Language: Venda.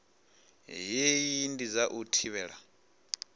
hei ndi dza u thivhela